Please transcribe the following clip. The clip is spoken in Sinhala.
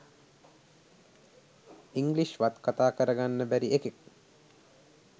ඉන්ග්ලිෂ් වත් කතා කර ගන්න බැරි එකෙක්.